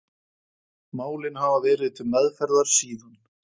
Málin hafa verið til meðferðar síðan